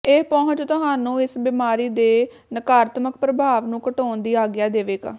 ਇਹ ਪਹੁੰਚ ਤੁਹਾਨੂੰ ਇਸ ਬਿਮਾਰੀ ਦੇ ਨਕਾਰਾਤਮਕ ਪ੍ਰਭਾਵ ਨੂੰ ਘਟਾਉਣ ਦੀ ਆਗਿਆ ਦੇਵੇਗਾ